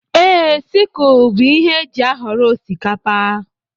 Ee, sikul bụ ihe éjị aghọrọ osikapa.